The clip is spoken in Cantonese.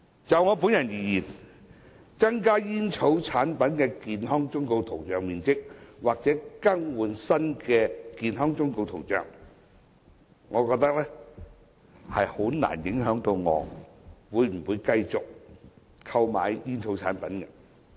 就我本人而言，增加煙草產品的健康忠告圖像面積，或者更換新的健康忠告圖像，難以影響我會否繼續購買煙草產品的決定。